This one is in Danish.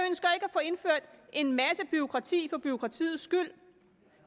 få indført en masse bureaukrati for bureaukratiets skyld